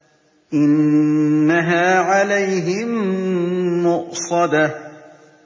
إِنَّهَا عَلَيْهِم مُّؤْصَدَةٌ